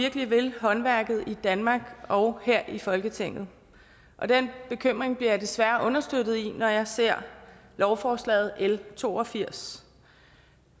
virkelig vil håndværket i danmark og her i folketinget og den bekymring bliver jeg desværre understøttet i når jeg ser lovforslaget l to og firs